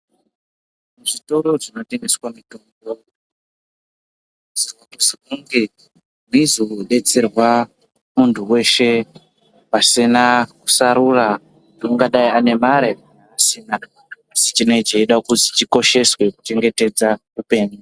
Zvitoro zvinotengeswa mitombo zvinosisirwa kunge zveizodetserwa muntu weshe pasina kusarura kuti ungadai ane mare kana asina asi chinenge chichida kukosheswa kuchengetedza hupenyu.